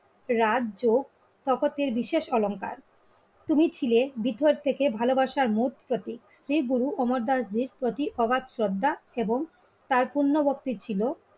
রাজ যোগ শপথটির বিশেষ অলংকার তুমি ছিলে বিথের থেকে ভালোবাসার মূল প্রতি. শ্রীগুরু অমর দাস প্রতি অবাক শ্রদ্ধা এবং তার পূর্ণবর্তী ছিল